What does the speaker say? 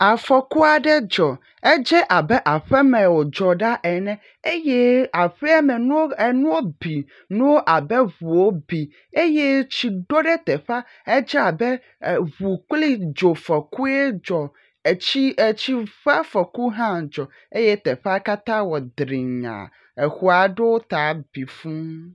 Afɔku aɖe dzɔ edze abe abe aƒeme wodzɔ ɖa ene eye aƒeame nuwo bi abe ʋuwo bi eye tsi ɖɔ ɖe teƒƒea edze abe ʋu kpli dzo fɔkue dzɔ etsi ƒƒe afɔku ha dzɔ eye teƒea katã wɔ drinya xɔ aɖewo ta bi fuu